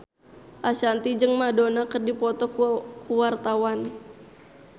Ashanti jeung Madonna keur dipoto ku wartawan